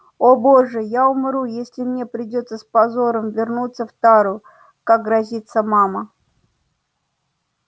о боже я умру если мне придётся с позором вернуться в тару как грозится мама